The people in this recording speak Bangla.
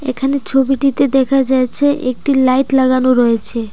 এখানে ছবিটিতে দেখা যাচ্ছে একটি লাইট লাগানো রয়েছে।